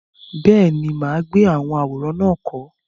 Bẹ́ẹ̀ni, mà á gbé àwọn àwòrán náà kọ́.